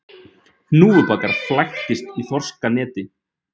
Hnúfubakur flæktist í þorskaneti